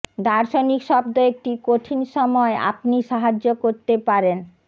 দার্শনিক শব্দ একটি কঠিন সময় আপনি সাহায্য করতে পারেন